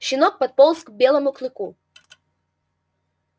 щенок подполз к белому клыку